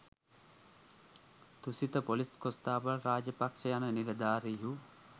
තුසිත ‍police කොස්තාපල් රාජපක්ෂ යන නිලධාරීහු